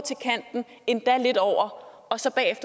endda lidt over og så